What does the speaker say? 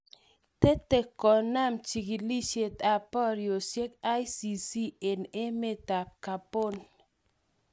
Tete kunam chigilisiet ap porisiet icc en emet ap Gabon.